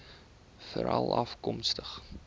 veralafkomstig